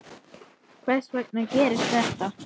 Hvers vegna gerist þetta?